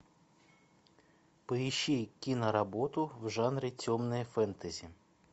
поищи киноработу в жанре темное фэнтези